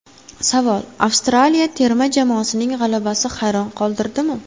Savol: Avstraliya terma jamoasining g‘alabasi hayron qoldirdimi?